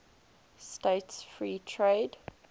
states free trade